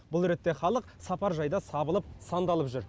бұл ретте халық сапаржайда сабылып сандалып жүр